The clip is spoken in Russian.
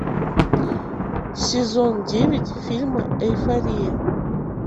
сезон девять фильма эйфория